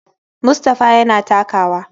Mustapha yana takawa.